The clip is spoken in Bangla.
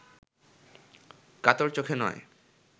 কাতর চোখে নয়